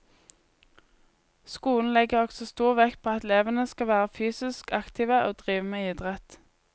Skolen legger også stor vekt på at elevene skal være fysisk aktive og drive med idrett.